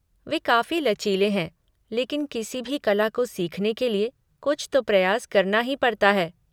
वे काफी लचीले हैं लेकिन किसी भी कला को सीखने के लिए कुछ तो प्रयास करना ही पड़ता है।